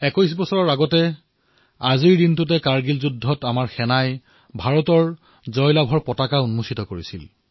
২১ বছৰ পূৰ্বে আজিৰ দিনটোতেই আমাৰ সেনাই ভাৰতৰ বিজয় ধ্বজ্বা উৰুৱাইছিল